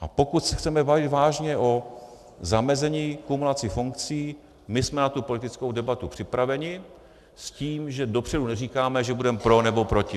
A pokud se chceme bavit vážně o zamezení kumulací funkcí, my jsme na tu politickou debatu připraveni s tím, že dopředu neříkáme, že budeme pro, nebo proti.